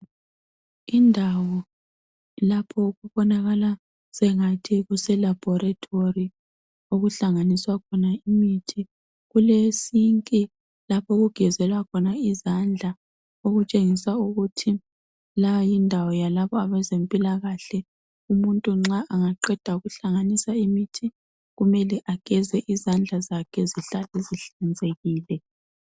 Indawo lapho okubonakala sengathi kuse laboratory okuhlanganiswa khona imithi kule sink lapho okugezelwa khona izandla okutshengisa ukuthi la yindawo yalabo abezempilakahle umuntu nxa engaqeda ukuhlanganiswa imithi kumele ageze izandla zakhe zihlale zihlenzekile.